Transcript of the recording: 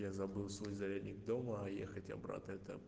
я забыл свой зарядник дома а ехать обратно это